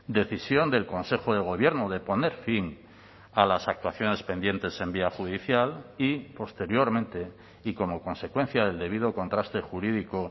decisión del consejo de gobierno de poner fin a las actuaciones pendientes en vía judicial y posteriormente y como consecuencia del debido contraste jurídico